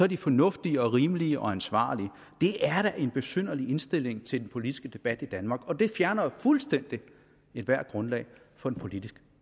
de fornuftige og rimelige og ansvarlige det er da en besynderlig indstilling til den politiske debat i danmark og det fjerner jo fuldstændig ethvert grundlag for en politisk